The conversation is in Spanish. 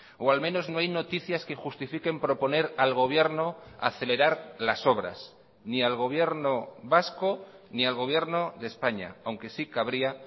o al menos no hay noticias que justifiquen proponer al gobierno acelerar las obras ni al gobierno vasco ni al gobierno de españa aunque sí cabría